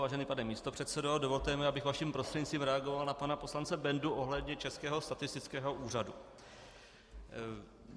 Vážený pane místopředsedo, dovolte mi, abych vaším prostřednictvím reagoval na pana poslance Bendu ohledně Českého statistického úřadu.